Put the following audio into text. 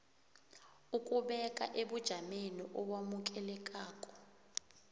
ukubeka ebujameni obamukelekako